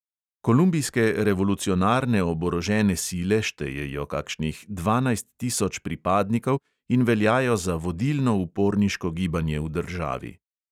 Kolumbijske revolucionarne oborožene sile štejejo kakšnih dvanajst tisoč pripadnikov in veljajo za vodilno uporniško gibanje v državi.